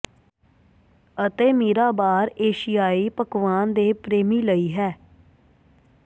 ਅਤੇ ਮੀਰਾ ਬਾਰ ਏਸ਼ੀਆਈ ਪਕਵਾਨ ਦੇ ਪ੍ਰੇਮੀ ਲਈ ਹੈ